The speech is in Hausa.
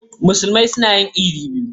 Musulmai suna yin idi biyu.